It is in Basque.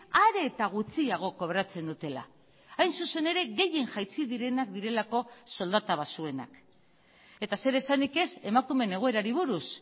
are eta gutxiago kobratzen dutela hain zuzen ere gehien jaitsi direnak direlako soldata baxuenak eta zer esanik ez emakumeen egoerari buruz